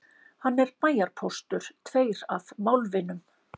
Hann er bæjarpóstur, tveir af málvinum